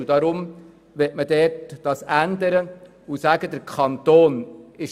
Deshalb möchte man hier die Zuständigkeit dem Kanton übergeben.